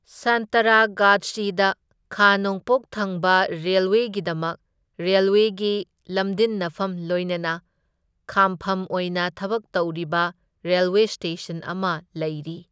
ꯁꯥꯟꯇꯔꯥꯒꯥꯆꯆꯤꯗ ꯈꯥ ꯅꯣꯡꯄꯣꯛ ꯊꯪꯕ ꯔꯦꯜꯋꯦꯒꯤꯗꯃꯛ ꯔꯦꯜꯋꯦꯒꯤ ꯂꯝꯗꯤꯟꯅꯐꯝ ꯂꯣꯏꯅꯅ ꯈꯥꯝꯐꯝ ꯑꯣꯏꯅ ꯊꯕꯛ ꯇꯧꯔꯤꯕ ꯔꯦꯜꯋꯦ ꯁ꯭ꯇꯦꯁꯟ ꯑꯃ ꯂꯩꯔꯤ꯫